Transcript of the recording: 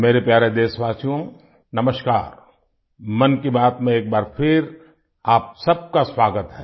मेरे प्यारे देशवासियो नमस्कार मन की बात में एक बार फिर आप सब का स्वागत है